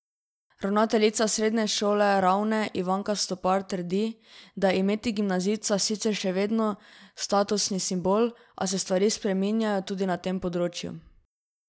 Ravnateljica Srednje šole Ravne Ivanka Stopar trdi, da je imeti gimnazijca sicer še vedno statusni simbol, a se stvari spreminjajo tudi na tem področju.